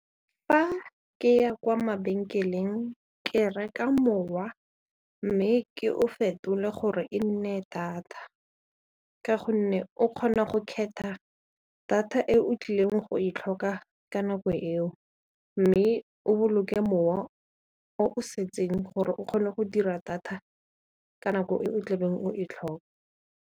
Fa ke ya kwa mabenkeleng ka reka mowa mme ke o fetole gore e nne data ka gonne o kgona go kgetha data e o tlileng go e tlhoka ka nako eo mme o boloke mowa o setseng gore o kgone go dira data ka nako e o tlabeng o e tlhoka.